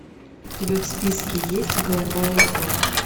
у тебя в списке есть голубая кровь